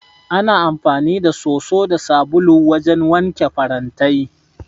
Ana amfani da soso da sabulu wajen wanke farantai.